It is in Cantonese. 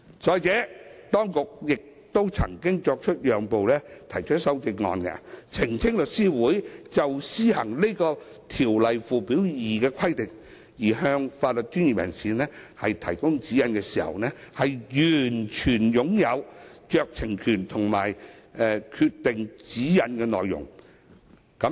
再者，當局亦曾作出讓步，提出修正案訂明律師會的權力，包括就施行《條例》附表2的規定而向法律專業人士提供指引時，律師會擁有完全酌情權及決定指引內容的權力。